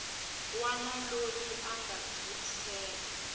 wana loyi a nga tiyimisela